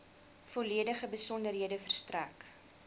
volledige besonderhede verstrek